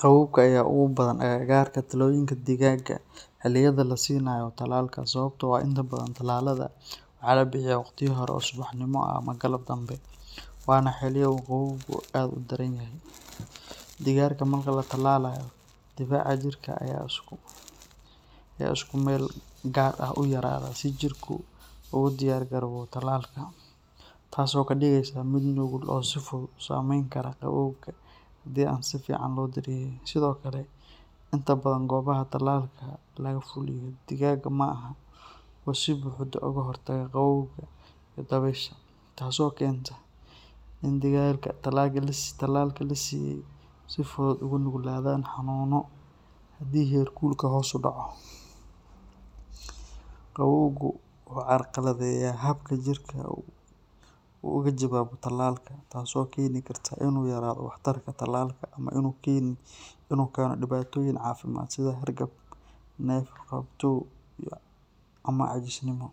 Qabowga ayaa ugu badan agagaarka talooyinka digaagga xilliyada la siinayo tallaalka sababtoo ah inta badan tallaalada waxaa la bixiyaa waqtiyo hore oo subaxnimo ah ama galab dambe, waana xilliyo uu qabowgu aad u daran yahay. Digaagga marka la tallaalayo, difaaca jirka ayaa si ku-meel-gaar ah u yaraada si jirku ugu diyaargaroobo tallaalka, taasoo ka dhigaysa mid nugul oo si fudud u saameyn kara qabowga haddii aan si fiican loo daryeelin. Sidoo kale, inta badan goobaha tallaalka lagaga fuliyo digaagga ma ahan kuwo si buuxda uga hortaga qabowga iyo dabaysha, taasoo keenta in digaagga tallaalka la siiyay ay si fudud ugu nuglaadaan xanuunno haddii heerkulka hoos u dhaco. Qabowgu wuxuu carqaladeeyaa habka jirka uu uga jawaabayo tallaalka, taasoo keeni karta in uu yaraado waxtarka tallaalka ama inuu keeno dhibaatooyin caafimaad sida hargab, neef-qabatow ama caajisnimo.